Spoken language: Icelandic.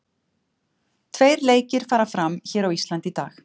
Tveir leikir fara fram hér á Íslandi í dag.